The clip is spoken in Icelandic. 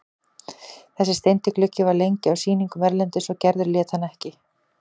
Þessi steindi gluggi var lengi á sýningum erlendis og Gerður lét hann ekki.